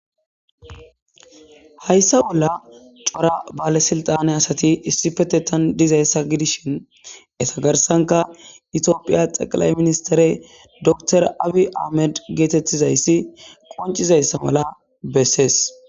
Hayissa bolla cora balesilatane asati issippeteththan dizayissa gidishshinn eta garissankka Ethiopia teqilayi ministere docter abi ayimed qonccizayissa mala besees.